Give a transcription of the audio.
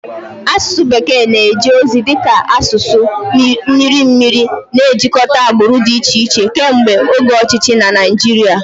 Asụsụ bekee na-eje ozi dị ka asụsụ mmiri mmiri, na-ejikọta agbụrụ dị iche iche kemgbe oge ọchịchị na Naịjirịa.